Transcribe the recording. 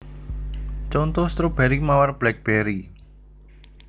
Conto stroberi mawar blackberry